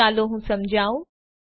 ચાલો હું સમજાવું